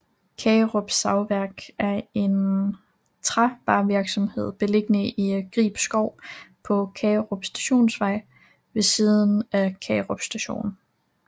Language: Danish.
Kagerup Savværk er en trævarevirksomhed beliggende i Grib Skov på Kagerup Stationsvej ved siden af Kagerup Station